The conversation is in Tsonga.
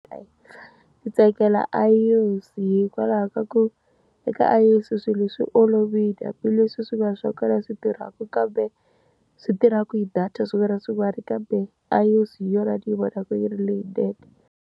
Ndzi tsakela iOS-i hikwalaho ka ku, eka iOS-i swilo leswi olovile hambileswi swi nga swa swi tirhaka, kambe swi tirhaka hi data swin'wana na swin'wana kambe iOS-i hi yona ni yi vonaka yi ri leyinene.